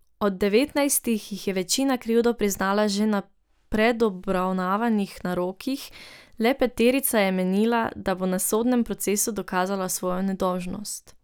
Od devetnajstih jih je večina krivdo priznala že na predobravnavnih narokih, le peterica je menila, da bo na sodnem procesu dokazala svojo nedolžnost.